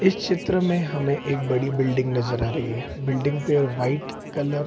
इस चित्र में हमें एक बड़ी बिल्डिंग नजर आ रही है बिल्डिंग पे व्हाइट कलर --